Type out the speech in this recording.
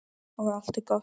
Og allt er gott.